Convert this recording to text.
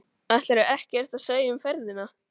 Ætlarðu ekkert að segja um ferðina?